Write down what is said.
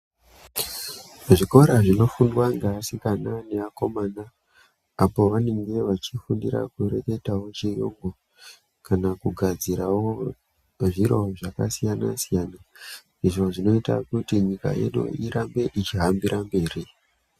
Kuzvikora zvinofundwa ngeasikana neakomana apo vanenge vechifundira kureketawo chiyungu kana kugadzirawo zviro zvakasiyana siyana izvo zvinoita kuti nyika yedu irambe yechihambira mberi.